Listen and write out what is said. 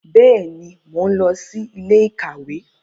Bẹẹni, Mo n lọ sí ilé-íkàwe